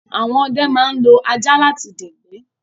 Àwọn ọdẹ ma ń lo ajá láti dẹ̀gbẹ́